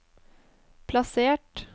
plassert